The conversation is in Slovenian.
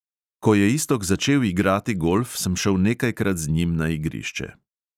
Ko je iztok začel igrati golf, sem šel nekajkrat z njim na igrišče.